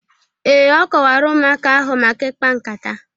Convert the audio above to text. Ee, o kọwara ụmụaka ahụ maka ikpa nkata